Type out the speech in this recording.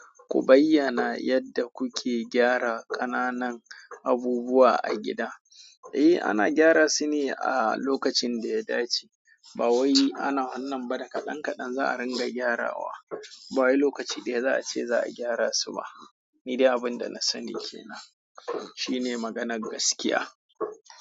Ku bayyana yadda kuke gyara ƙananan abubuwa a gida. Eh ana gaira su ne a lokacin daya dace ba wai ana wannan ba da kadan kadan za a ringa gyarawa. Ba wai lokaci daya za a ce za a gyara su ba. Ni dai abin da na sani ke nan shine maganar gaskiya.